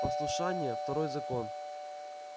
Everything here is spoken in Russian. послушание второй закон